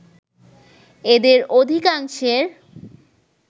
এদের অধিকাংশের